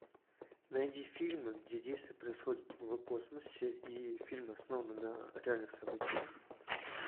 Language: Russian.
найди фильмы где действия происходят в космосе и фильмы основаны на реальных событиях